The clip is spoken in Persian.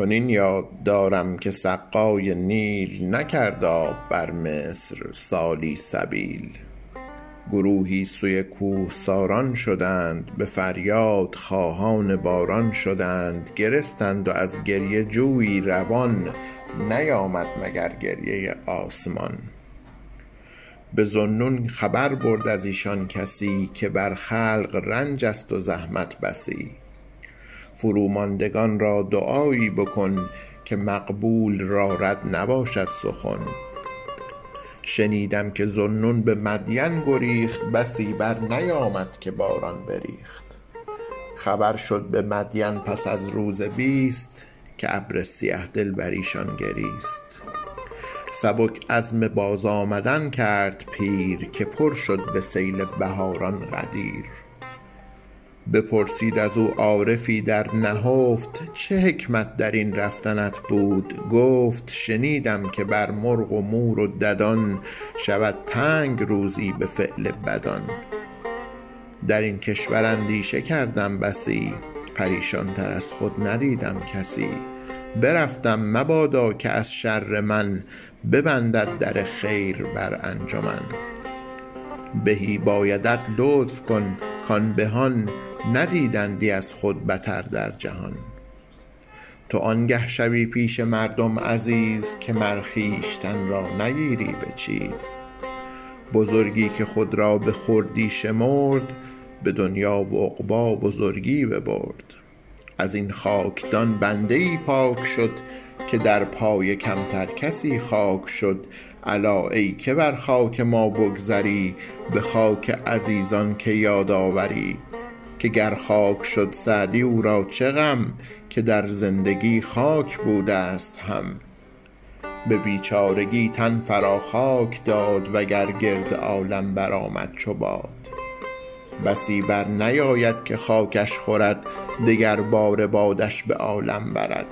چنین یاد دارم که سقای نیل نکرد آب بر مصر سالی سبیل گروهی سوی کوهساران شدند به فریاد خواهان باران شدند گرستند و از گریه جویی روان نیامد مگر گریه آسمان به ذوالنون خبر برد از ایشان کسی که بر خلق رنج است و زحمت بسی فرو ماندگان را دعایی بکن که مقبول را رد نباشد سخن شنیدم که ذوالنون به مدین گریخت بسی بر نیامد که باران بریخت خبر شد به مدین پس از روز بیست که ابر سیه دل بر ایشان گریست سبک عزم باز آمدن کرد پیر که پر شد به سیل بهاران غدیر بپرسید از او عارفی در نهفت چه حکمت در این رفتنت بود گفت شنیدم که بر مرغ و مور و ددان شود تنگ روزی به فعل بدان در این کشور اندیشه کردم بسی پریشان تر از خود ندیدم کسی برفتم مبادا که از شر من ببندد در خیر بر انجمن بهی بایدت لطف کن کان بهان ندیدندی از خود بتر در جهان تو آنگه شوی پیش مردم عزیز که مر خویشتن را نگیری به چیز بزرگی که خود را به خردی شمرد به دنیا و عقبی بزرگی ببرد از این خاکدان بنده ای پاک شد که در پای کمتر کسی خاک شد الا ای که بر خاک ما بگذری به خاک عزیزان که یاد آوری که گر خاک شد سعدی او را چه غم که در زندگی خاک بوده ست هم به بیچارگی تن فرا خاک داد وگر گرد عالم برآمد چو باد بسی برنیاید که خاکش خورد دگر باره بادش به عالم برد